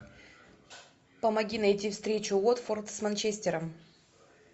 помоги найти встречу уотфорд с манчестером